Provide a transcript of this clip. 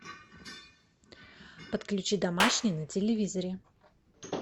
подключи домашний на телевизоре